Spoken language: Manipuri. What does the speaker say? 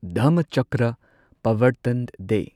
ꯙꯝꯃꯆꯀ꯭ꯔ ꯄꯚꯔꯇꯟ ꯗꯦ